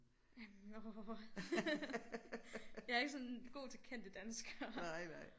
Jamen åh jeg er ikke sådan god til kendte danskere